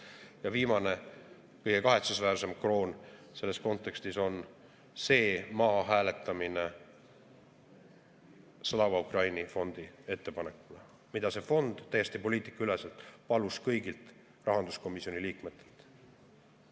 Ja viimane, kõige kahetsusväärsem kroon selles kontekstis on see, et maha hääletati Slava Ukraini fondi ettepanek, mida see fond täiesti poliitikaüleselt palus kõigilt rahanduskomisjoni liikmetelt.